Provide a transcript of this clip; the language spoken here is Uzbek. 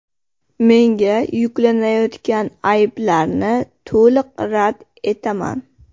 Menga yuklanayotgan ayblarni to‘liq rad etaman.